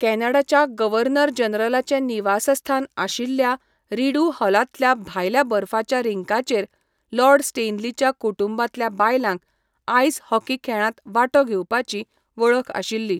कॅनडाच्या governor जनरलाचें निवासस्थान आशिल्ल्या रिड्यू हॉलांतल्या भायल्या बर्फाच्या रिंकाचेर लॉर्ड स्टॅनलीच्या कुटुंबांतल्या बायलांक आइस हॉकी खेळांत वांटो घेवपाची वळख आशिल्ली.